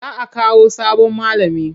Za a Kawo sabon malami.